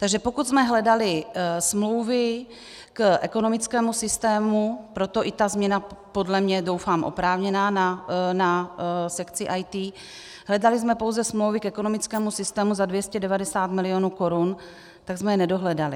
Takže pokud jsme hledali smlouvy k ekonomickému systému, proto i ta změna, podle mě doufám oprávněná, na sekci IT, hledali jsme pouze smlouvy k ekonomickému systému za 290 mil. korun, tak jsme je nedohledali.